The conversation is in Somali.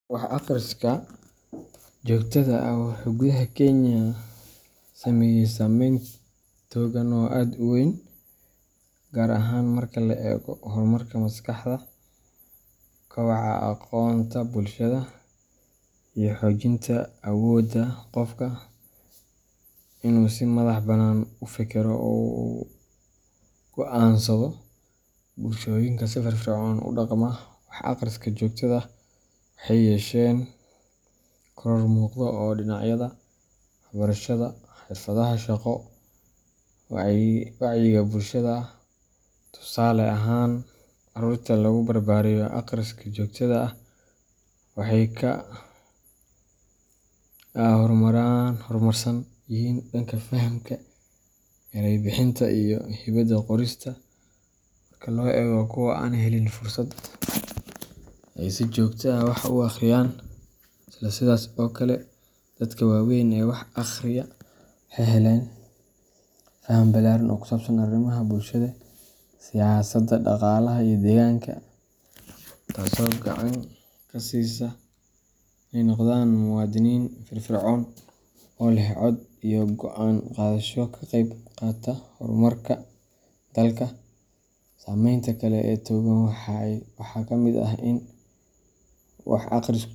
Wax akhriska joogtada ah wuxuu gudaha Kenya sameeyay saameyn togan oo aad u weyn, gaar ahaan marka laga eego horumarka maskaxda, kobaca aqoonta bulshada, iyo xoojinta awoodda qofka inuu si madax bannaan u fekero oo wax u go’aansado. Bulshooyinka si firfircoon ugu dhaqma wax akhriska joogtada ah waxay yeesheen koror muuqda oo dhinacyada waxbarashada, xirfadaha shaqo, iyo wacyiga bulshada ah. Tusaale ahaan, carruurta lagu barbaariyo akhriska joogtada ah waxay ka horumarsan yihiin dhanka fahamka, eray bixinta, iyo hibada qorista marka loo eego kuwa aan helin fursad ay si joogto ah wax u akhriyaan. Isla sidaas oo kale, dadka waaweyn ee wax akhriya waxay helaan faham ballaaran oo ku saabsan arrimaha bulshada, siyaasadda, dhaqaalaha, iyo deegaanka, taasoo gacan ka siisa inay noqdaan muwaadiniin firfircoon oo leh cod iyo go’aan qaadasho ka qayb qaata horumarka dalka. Saameynta kale ee togan waxaa ka mid ah in wax akhrisku.